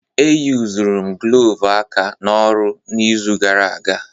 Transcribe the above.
E yuzuru m glọvu aka n'ọrụ n'izu gara aga.